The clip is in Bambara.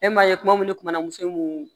E m'a ye kuma minnu kumana muso mun